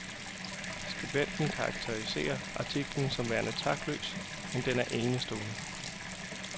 Skribenten karakteriserer artiklen som værende taktløs, men den er enestående.